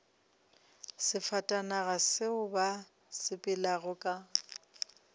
sefatanaga seo ba sepelago ka